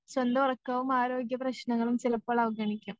സ്വന്തവക്കവും ആരോഗ്യപ്രശ്നങ്ങളും ചിലപ്പോൾ അവഗണിക്കും.